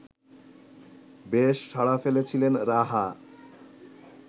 বেশ সাড়া ফেলেছিলেন রাহা